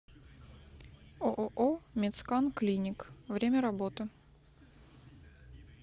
ооо медскан клиник время работы